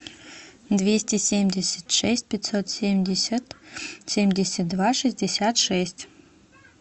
двести семьдесят шесть пятьсот семьдесят семьдесят два шестьдесят шесть